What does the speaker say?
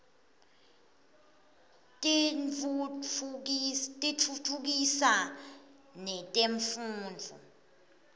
tiftutfukisa netemfundvo